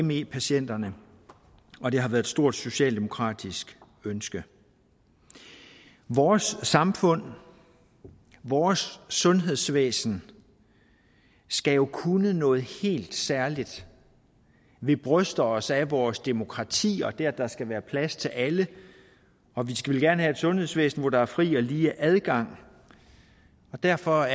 me patienterne og det har været et stort socialdemokratisk ønske vores samfund vores sundhedsvæsen skal jo kunne noget helt særligt vi bryster os af vores demokrati og det at der skal være plads til alle og vi skal vel gerne have et sundhedsvæsen hvor der er fri og lige adgang og derfor